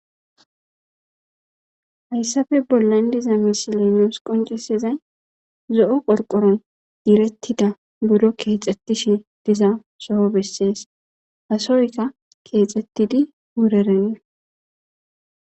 Hayssape bollan diiza missiley nus qonccisizay zo'o qorqoroy kexxetishshe dizayssa besses keththeykka wurerenna.